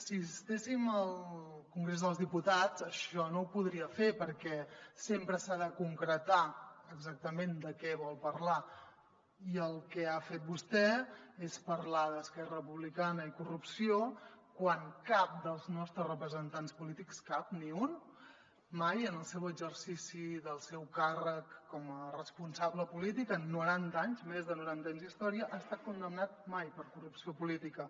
si estiguéssim al congrés dels diputats això no ho podria fer perquè sempre s’ha de concretar exactament de què vol parlar i el que ha fet vostè és parlar d’esquerra republicana i corrupció quan cap dels nostres representants polítics cap ni un mai en el seu exercici del seu càrrec com a responsable polític en noranta anys més de noranta anys d’història ha estat condemnat mai per corrupció política